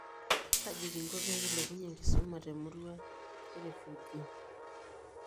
Kaji kinko pee kilepunyie enkisuma toomurua e refugii?